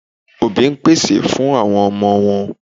Òbí pèsè fún àwọn ọmọ wọn.